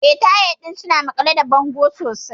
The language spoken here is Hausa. Eh, tayal ɗin suna maƙale da bango sosai.